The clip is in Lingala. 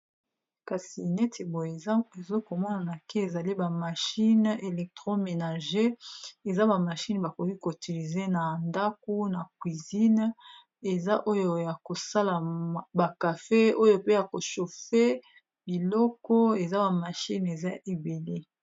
kasi neti boye ezokomonana ke ezali bamachine electro menage eza bamashine bakoki kotilize na ndaku na cuisine eza oyo ya kosala bakafe oyo pe ya koshofe biloko eza bamashine eza ebele